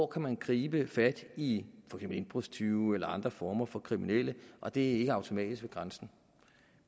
kan gribe fat i indbrudstyve eller andre former for kriminelle og det er ikke automatisk ved grænsen